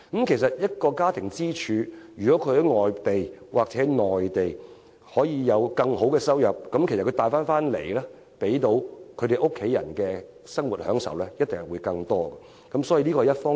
其實，當一個家庭的經濟支柱能在外地或內地有更好收入，他帶給家庭成員的生活享受一定會更多。